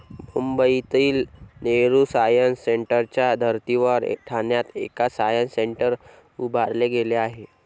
मुंबईतील नेहरू सायन्स सेंटरच्या धर्तीवर ठाण्यात एक सायन्स सेंटर उभारले गेले आहे.